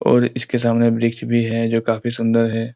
और इसके सामने वृक्ष भी है जो काफी सुंदर है।